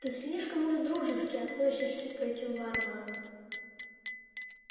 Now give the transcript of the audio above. ты слишком уж дружески относишься к этим варварам